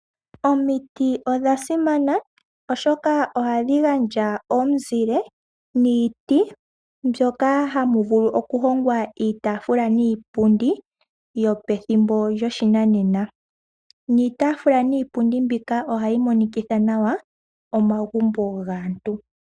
Omiti odhasimana oshoka ohadhi gandja omuzile niiti mbyoka hamu vulu oku hongwa iitaafula niipundi yopethimbo lyo shinanena. Iitaafula niipundi mbika ohayi monikitha nawa omagumbo gaantu.